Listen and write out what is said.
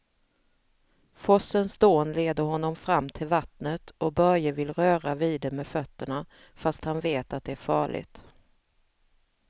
Forsens dån leder honom fram till vattnet och Börje vill röra vid det med fötterna, fast han vet att det är farligt.